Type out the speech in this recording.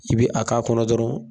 I bi a k'a kɔnɔ dɔrɔn